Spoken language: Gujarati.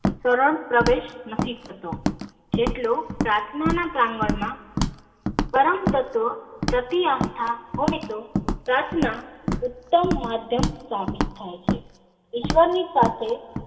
કરણ પ્રદેશ નથી થતો જેટલો પ્રાથના ના કાગળ માં પણ કરન તત્વો પ્રતિ આસ્થા હોય તો પ્રાથના ઉત્તમ માધ્યમ સાબિત થાય છે ઈશ્વર ની સાથે.